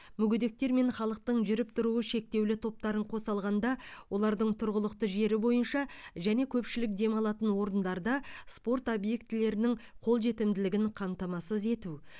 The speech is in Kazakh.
мүгедектер мен халықтың жүріп тұруы шектеулі топтарын қоса алғанда олардың тұрғылықты жері бойынша және көпшілік демалатын орындарда спорт объектілерінің қолжетімділігін қамтамасыз ету